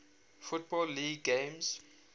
football league games